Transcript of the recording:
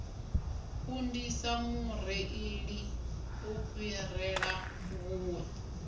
kundisa mureili u fhirela vhuṋwe